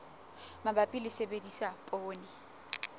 mabapi le ho sebedisa poone